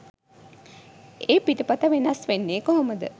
ඒ පිටපත වෙනස් වෙන්නෙ කොහොමද?